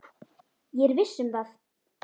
Ég er viss um það.